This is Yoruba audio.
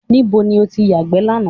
Níbo ni o ti yàgbẹ́ lánàá?